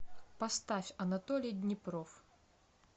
поставь анатолий днепров